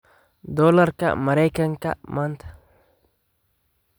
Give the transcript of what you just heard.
Doolarka Maraykanka maanta